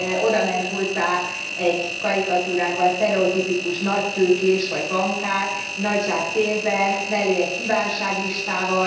Odament hozzá egy karikatúrában sztereotipikus nagytőkés vagy bankár nagy zsák pénzzel, mellé egy kívánságlistával.